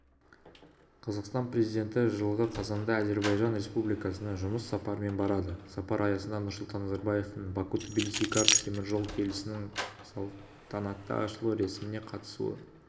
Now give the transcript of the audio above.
қазақстан президенті жылғы қазанда әзербайжан республикасына жұмыс сапарымен барады сапар аясында нұрсұлтан назарбаевтың баку-тбилиси-карс теміржол желісінің салтанатты ашылу рәсіміне қатысуы